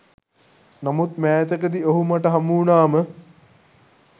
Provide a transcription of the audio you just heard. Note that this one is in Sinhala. නමුත් මෑතකදී ඔහු මට හමුවුනාම